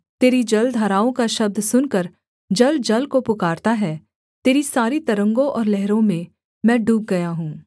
तेरी जलधाराओं का शब्द सुनकर जल जल को पुकारता है तेरी सारी तरंगों और लहरों में मैं डूब गया हूँ